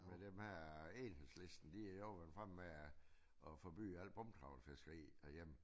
Men dem her Enhedslisten de har goså været fremme med at forbyde alt bundtrawl fiskeri herhjemme